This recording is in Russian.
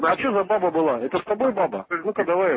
а что за баба была это с тобой баба ну ка давай